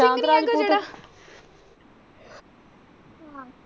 Sushant Rajput.